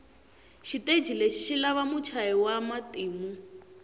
shiteji leshi shilava mutshayi wamatimu